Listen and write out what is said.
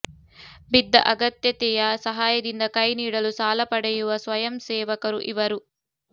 ಬಿದ್ದ ಅಗತ್ಯತೆಯ ಸಹಾಯದಿಂದ ಕೈ ನೀಡಲು ಸಾಲ ಪಡೆಯುವ ಸ್ವಯಂಸೇವಕರು ಇವರು